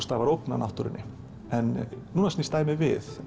stafar ógn af náttúrunni núna snýst dæmið við